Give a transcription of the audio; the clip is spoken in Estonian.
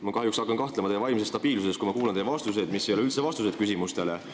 Ma hakkan kahjuks kahtlema teie vaimses stabiilsuses, kui ma kuulan teie vastuseid, mis ei ole üldse vastused küsimustele.